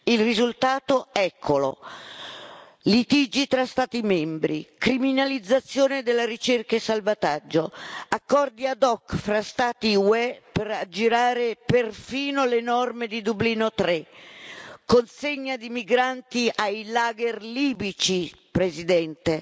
Il risultato, eccolo litigi tra Stati membri, criminalizzazione della ricerca e salvataggio, accordi ad hoc tra Stati UE per aggirare perfino le norme di Dublino 3, consegna di migranti ai lager libici, Presidente,